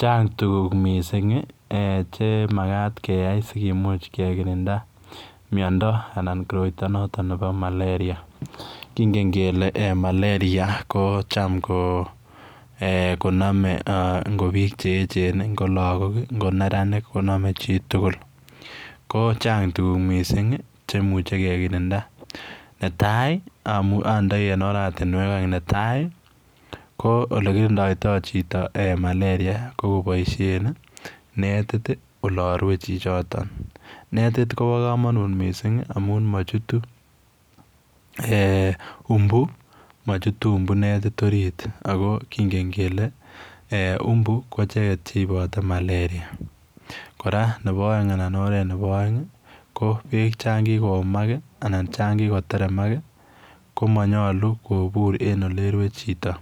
Chang' tukuk mising' chemakat keyai sikimuch kekirinda miondo alaa koroito noton nebo malaria, king'en kele malaria kocham ko konome biik ngo biik che echen, ngo lokok, ngo neranik konome chitukul, ko chang' tukuk mising' chemuche kekirinda netai ondoi en oratinwek oeng, netai ko olekirindoito chito malaria kokoboishen netit olorwe chichoton, netit kobokomonut mising' amun mochutu umbu, mochutu umbu netit oriit ak ko kingen kelee umbu ko icheket cheibote malaria, kora nebo alaa oret nebo oeng ko beek choon kikoumak anan chon kikoteremak komonyolu kobur en okerwe chito,